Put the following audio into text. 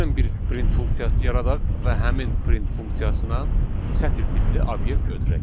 Gəlin bir print funksiyası yaradaq və həmin print funksiyasına sətir tipli obyekt ötürək.